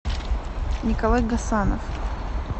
николай гасанов